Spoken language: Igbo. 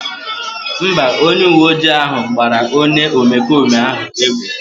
Mba, onye uwe ojii ahụ gbara onye omekome ahụ egbe